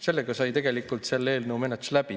Sellega sai tegelikult selle eelnõu menetlus läbi.